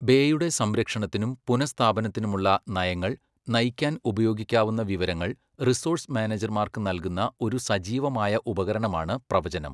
ബേയുടെ സംരക്ഷണത്തിനും പുനഃസ്ഥാപനത്തിനുമുള്ള നയങ്ങൾ നയിക്കാൻ ഉപയോഗിക്കാവുന്ന വിവരങ്ങൾ റിസോഴ്സ് മാനേജർമാർക്ക് നൽകുന്ന ഒരു സജീവമായ ഉപകരണമാണ് പ്രവചനം.